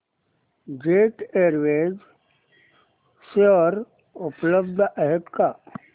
jet Airways share उपलब्ध आहेत का